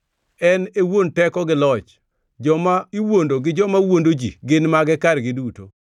En e wuon teko gi loch; joma iwuondo gi joma wuondo ji gin mage kargi duto.